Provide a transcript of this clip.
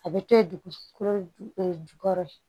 A bɛ to ye dugukolo ju jukɔrɔ